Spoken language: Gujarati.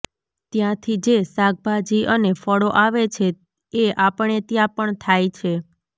ત્યાંથી જે શાકભાજી અને ફળો આવે છે એ આપણે ત્યાં પણ થાય છે